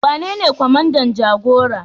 Wanene kwamandan jagora?